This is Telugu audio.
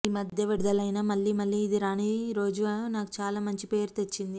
ఈమధ్య విడుదలైన మళ్ళీ మళ్ళీ ఇది రానిరోజు నాకు చాలా మంచి పేరు తెచ్చింది